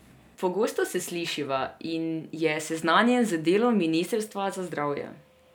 Pogosto se slišiva in je seznanjen z delom ministrstva za zdravje.